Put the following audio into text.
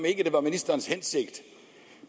ikke var ministerens hensigt